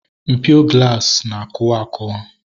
Mpio glaasi na akụwa akuwa